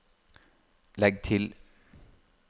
legg til